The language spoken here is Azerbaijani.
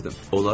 Mən gülürdüm.